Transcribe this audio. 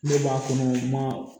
Ne b'a kɔnɔ ma